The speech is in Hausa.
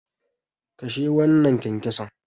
Kashe wannan kyankyason.